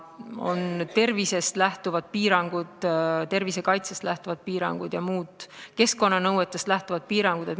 On ka tervisekaitsest lähtuvad piirangud ja keskkonnanõuetest lähtuvad piirangud.